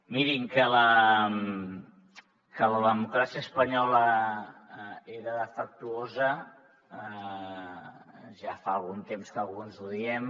mirin que la democràcia espanyola era defectuosa ja fa algun temps que alguns ho diem